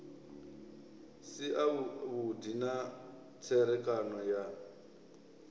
si avhudi na tserekano ya